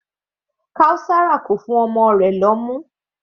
Kaosara kò fún ọmọ rẹ̀ lóyún.